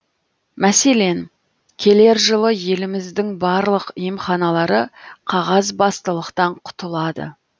мәселен келер жылы еліміздің барлық емханалары қағазбастылықтан құтылады